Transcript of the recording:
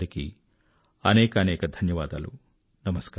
మీ అందరికీ అనేకానేక ధన్యవాదాలు